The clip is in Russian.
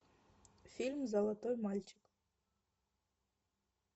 фильм золотой мальчик